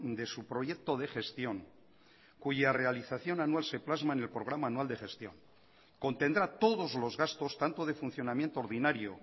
de su proyecto de gestión cuya realización anual se plasma en el programa anual de gestión contendrá todos los gastos tanto de funcionamiento ordinario